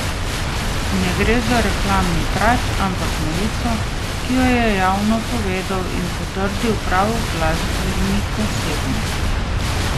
Ne gre za reklamni trač, ampak novico, ki jo je javno povedal in potrdil prav glasbenik osebno.